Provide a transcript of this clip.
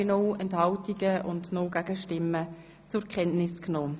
Sie haben den Bericht einstimmig zur Kenntnis genommen.